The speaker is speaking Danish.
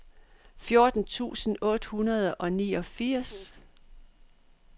fjorten tusind otte hundrede og niogfirs